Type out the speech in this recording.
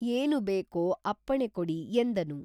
ಏನು ಬೇಕೋ ಅಪ್ಪಣೆ ಕೊಡಿ ಎಂದನು